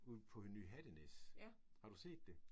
Ud på Ny Hattenæs. Har du set det?